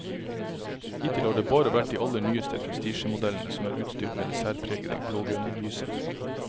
Hittil har det bare vært de aller nyeste prestisjemodellene som er utstyrt med det særpregede blågrønne lyset.